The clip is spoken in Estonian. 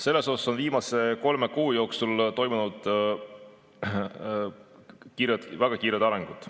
Siin on viimase kolme kuu jooksul toimunud väga kiired arengud.